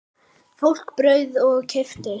Fólk bauð í og keypti.